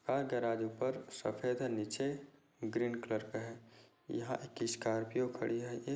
हर garage ऊपर सफेद है नीचे ग्रीन कलर का है यहाँ एक स्कार्पिओ खड़ी है ये--